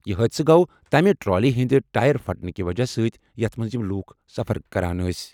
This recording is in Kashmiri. یہِ حٲدثہٕ گوٚو تَمہِ ٹرالی ہِنٛدِ ٹائر پھٹنہٕ کہِ وجہہ سۭتۍ یَتھ منٛز یِم لوٗکھ سفر کران ٲسۍ ۔